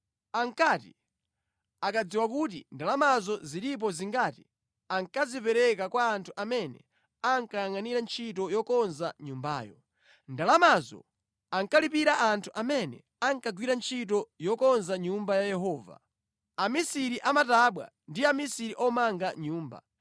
Ankati akadziwa kuti ndalamazo zilipo zingati, ankazipereka kwa anthu amene ankayangʼanira ntchito yokonza nyumbayo. Ndalamazo ankalipira anthu amene ankagwira ntchito yokonza Nyumba ya Yehova, amisiri a matabwa ndi amisiri omanga nyumba,